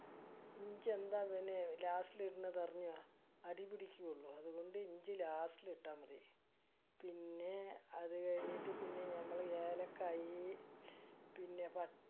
ഇഞ്ചി എന്താ അങ്ങനെ last ഇടണത് അറിയുമോ. അടിയില് പിടിക്കാലോ അതുകൊണ്ട് ഇഞ്ചി last ഇട്ടാ മതി. പിന്നെ അത് കഴിഞ്ഞിട്ട് പിന്നെ നമ്മള് ഏലക്കായി പിന്നെ